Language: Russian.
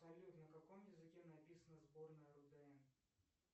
салют на каком языке написана сборная рудн